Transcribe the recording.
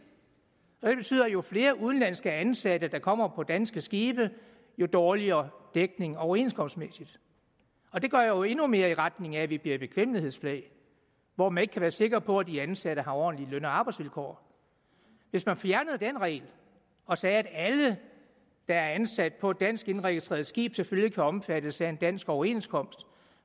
og det betyder at jo flere udenlandske ansatte der kommer på danske skibe jo dårligere dækning overenskomstmæssigt og det går jo endnu mere i retning af at vi bliver et bekvemmelighedsflag hvor man ikke kan være sikker på at de ansatte har ordentlige løn og arbejdsvilkår hvis man fjernede den regel og sagde at alle der er ansat på et dansk indregistreret skib selvfølgelig kan omfattes af en dansk overenskomst